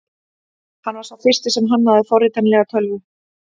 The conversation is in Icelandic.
Hann var sá fyrsti sem hannaði forritanlega tölvu.